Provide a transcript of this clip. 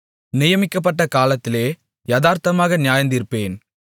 நியமிக்கப்பட்ட காலத்திலே யதார்த்தமாக நியாயந்தீர்ப்பேன்